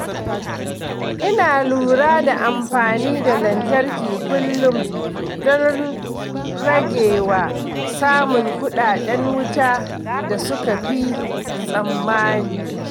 Ina lura da amfani da lantarki kullum don guje wa samun kuɗaɗen wuta da suka fi tsammani.